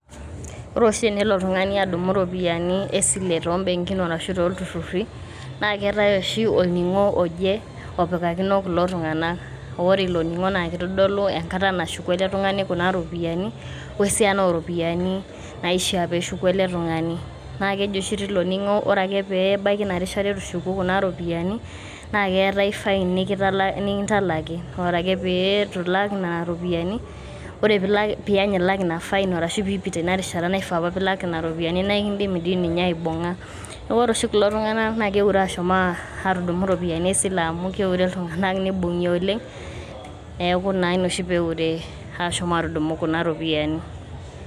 ore oshi tenelo oltungani adumu iropiyiani esile to imbenkin arashu too ntururri naa keetae oshi olningo oje opikakino kulo tunganak. ore ilo ningo naa kitodolu enkata nashuku ele tungani kuna ropiyiani we esiana oropiyani naishiaa peshuku ele tungani .naa keji tilo ningo ore ake pebaiki ina rishata itu ishuku kuna ropiyiani naa keetae fine nikitala nikintalaki ore peeitu ilak nena ropiyiani ore piany ilak ina fine ashu piipita ina rishata naifaa apa pilak nena ropiyiani naa ekidimi dii ninye aibunga. niaku ore oshi kulo tunganak naa keure ashuom atudumu iropiyiani esile amu keure iltunganak nibungi oleng neku naa ina oshi peure ashom atudumu kuna ropiyiani.